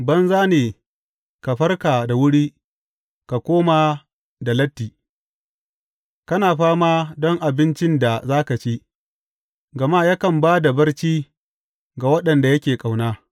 Banza ne ka farka da wuri ka koma da latti, kana fama don abincin da za ka ci, gama yakan ba da barci ga waɗanda yake ƙauna.